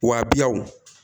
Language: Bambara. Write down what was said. Wa biw